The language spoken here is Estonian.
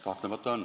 Kahtlemata on.